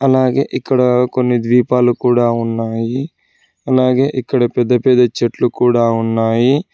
అలాగే ఇక్కడ కొన్ని ద్వీపాలు కూడా ఉన్నాయి అలాగే ఇక్కడ పెద్ద పెద్ద చెట్లు కూడా ఉన్నాయి.